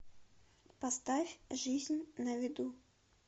поставь жизнь на виду